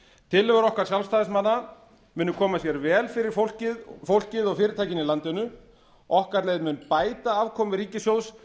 tillögur okkar sjálfstæðismanna munu koma sér vel fyrir fólkið og fyrirtækin í landinu okkar leið mun bæta afkomu ríkissjóðs